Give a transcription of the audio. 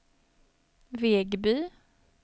Vegby